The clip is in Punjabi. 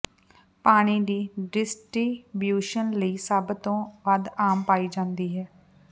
ਪਾਣੀ ਦੀ ਡਿਸਟ੍ਰੀਬਿਊਸ਼ਨ ਲਈ ਸਭ ਤੋਂ ਵੱਧ ਆਮ ਪਾਈ ਜਾਂਦੀ ਹੈ